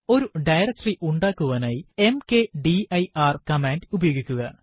ഒരു ഡയറക്ടറി ഉണ്ടാക്കുവാനായി mkdir command ഉപയോഗിക്കുക